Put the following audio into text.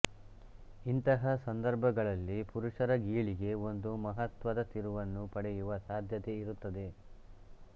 ಇಂತಹ ಸಂದರ್ಭಗಳಲ್ಲಿ ಪುರುಷರ ಗೀಳಿಗೆ ಒಂದು ಮಹತ್ವದ ತಿರುವನ್ನೂ ಪಡೆಯುವ ಸಾಧ್ಯತೆ ಇರುತ್ತದೆ